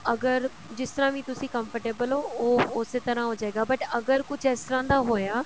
ਅਗਰ ਜਿਸ ਤਰ੍ਹਾਂ ਵੀ ਤੁਸੀਂ comfortable ਹੋ ਉਹ ਉਸੇ ਤਰ੍ਹਾਂ ਹੋਜੇਗਾ but ਅਗਰ ਕੁੱਝ ਇਸ ਤਰ੍ਹਾਂ ਦਾ ਹੋਇਆ